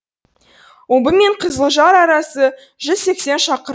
омбы мен қызылжар арасы жүз сексен шақырым